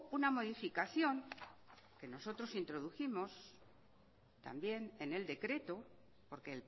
una modificación que nosotros introdujimos también en el decreto porque